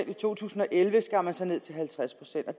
og i to tusind og elleve skar man så ned til halvtreds procent og